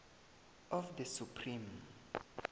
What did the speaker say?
of the supreme